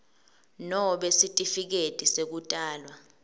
nobe sitifiketi sekutalwa